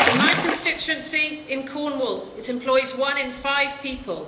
In my constituency in Cornwall, it employs one in five people.